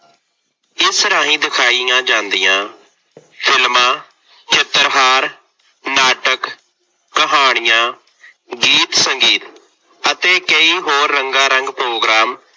ਇਸ ਰਾਹੀ ਦਿਖਾਈਆਂ ਜਾਂਦੀਆਂ ਫਿਲਮਾਂ, ਚਿੱਤਰਹਾਰ, ਨਾਟਕ, ਕਹਾਣੀਆਂ, ਗੀਤ-ਸੰਗੀਤ ਅਤੇ ਕਈ ਹੋਰ ਰੰਗਾਰੰਗ ਪ੍ਰੋਗਰਾਮ